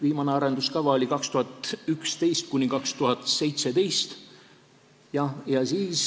Viimane arengukava oli aastate 2011–2017 kohta.